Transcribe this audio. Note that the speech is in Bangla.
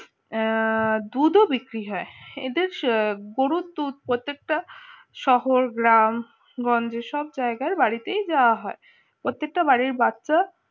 আহ দুধ ও বিক্রি হয় এদের গরুর দুধ প্রত্যেকটা শহর গ্রাম গঞ্জের সব জায়গায় বাড়িতেই যাওয়া হয় প্রত্যেকটা বাড়ির বাচ্চা